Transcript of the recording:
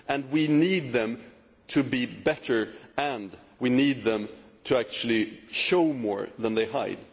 We need these to be improved and we need them to actually show more than they hide.